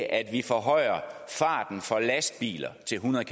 at vi forhøjer farten for lastbiler til hundrede